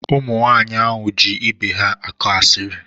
Ụmụ nwaanyị ahụ ji ibe ha akọ asiri.